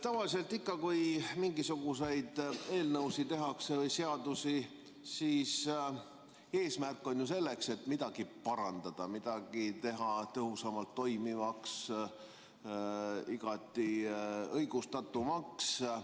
Tavaliselt ikka, kui mingisuguseid eelnõusid või seadusi tehakse, on ju eesmärk midagi parandada, teha tõhusamalt toimivaks ja igati õigustatumaks.